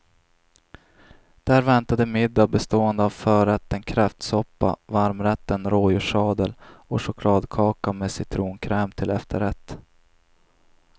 Där väntade middag bestående av förrätten kräftsoppa, varmrätten rådjurssadel och chokladkaka med citronkräm till efterrätt.